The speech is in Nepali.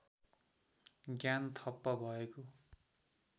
ज्ञान ठप्प भएको